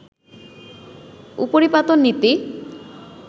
উপরিপাতন নীতি